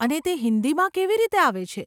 અને તે હિંદીમાં કેવી રીતે આવે છે?